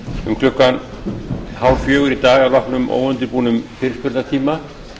um klukkan hálffjögur í dag að loknum óundirbúnum fyrirspurnatíma